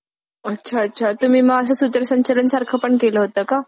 अच्छा अच्छा. तुम्ही मग असं सूत्रसंचालन सारखं पण केलं होतं का?